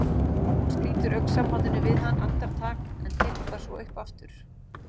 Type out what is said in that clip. Hún slítur augnsambandinu við hann andartak en tekur það svo upp aftur.